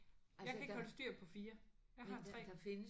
Jeg kan ikke holde styr på 4. Jeg har 3